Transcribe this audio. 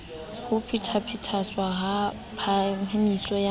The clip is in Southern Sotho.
ho phethahatswa ha phahamiso ya